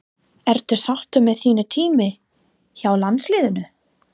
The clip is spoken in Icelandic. Ertu sáttur með þinn tíma hjá landsliðinu?